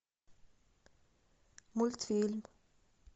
мультфильм